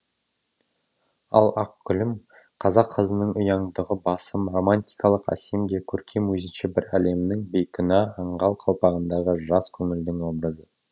ал ақ гүлім қазақ қызының ұяңдығы басым романтикалық әсем де көркем өзінше бір әлемнің бейкүнә аңғал қалпағындағы жас көңілдің образы